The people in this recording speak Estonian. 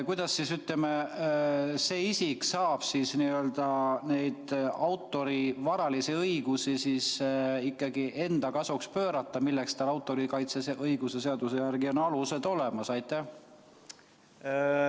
Kuidas see isik saab neid autori varalisi õigusi, milleks tal autoriõiguse seaduse järgi on alused olemas, ikkagi enda kasuks pöörata?